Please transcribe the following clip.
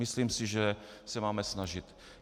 Myslím si, že se máme snažit.